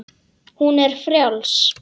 Hún er frjáls.